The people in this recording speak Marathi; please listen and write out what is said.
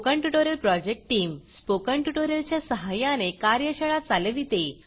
स्पोकन ट्युटोरियल प्रॉजेक्ट टीमस्पोकन ट्यूटोरियलच्या सहाय्याने कार्यशाळा चालविते